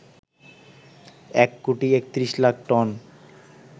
এক কোটি ৩১ লাখ টন